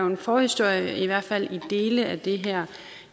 en forhistorie i hvert fald til dele af det her